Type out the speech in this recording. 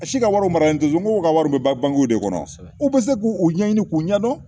A si ka wariw maralen tɛ n k'u ka wariw bɛ taa de kɔnɔ u bɛ se k'u u ɲɛɲini k'u ɲɛdɔn